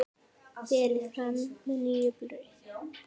Berið fram með nýju brauði.